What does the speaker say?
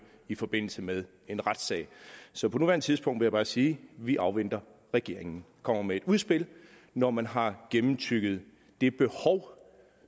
i forbindelse med en retssag så på nuværende tidspunkt vil jeg bare sige at vi afventer at regeringen kommer med et udspil når man har gennemtygget det behov